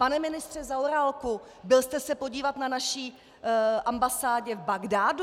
Pane ministře Zaorálku, byl jste se podívat na naší ambasádě v Bagdádu?